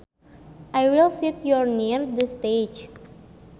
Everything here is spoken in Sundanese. I will seat you near the stage